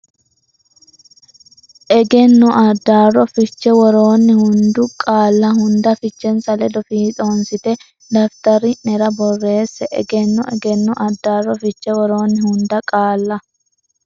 Egenno Addaarro Fiche Woroonni hunda qaalla hunda fichensa ledo fiixoonsitine daftari nera borreesse Egenno Egenno Addaarro Fiche Woroonni hunda qaalla.